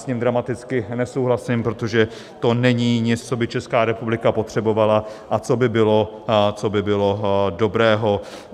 S tím dramaticky nesouhlasím, protože to není nic, co by Česká republika potřebovala a co by bylo dobré.